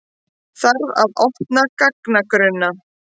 Þarf að opna gagnagrunna